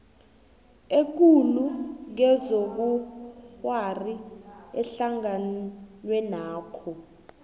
ekulu kezobukghwari ehlanganwenakho